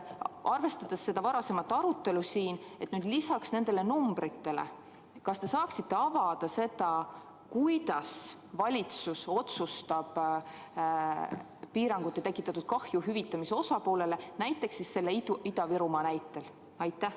Arvestades seda varasemat arutelu siin, kas te saaksite lisaks siin kõlanud numbritele avada, kuidas valitsus otsustab piirangute tõttu tekitatud kahju hüvitamise osalistele, näiteks Ida-Virumaa näitel?